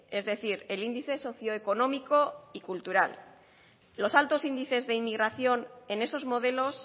es decir el índice socio económico y cultural los altos índices de inmigración en esos modelos